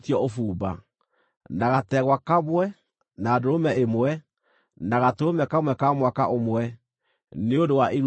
na gategwa kamwe, na ndũrũme ĩmwe, na gatũrũme kamwe ka mwaka ũmwe, nĩ ũndũ wa iruta rĩa njino;